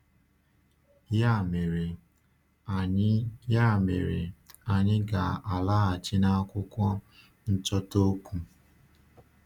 Ya mere, anyị Ya mere, anyị ga-alaghachi n’akwụkwọ nchọta okwu.